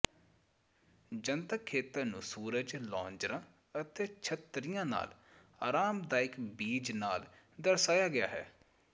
ਜਨਤਕ ਖੇਤਰ ਨੂੰ ਸੂਰਜ ਲੌਂਜਰਾਂ ਅਤੇ ਛਤਰੀਆਂ ਨਾਲ ਆਰਾਮਦਾਇਕ ਬੀਚ ਨਾਲ ਦਰਸਾਇਆ ਗਿਆ ਹੈ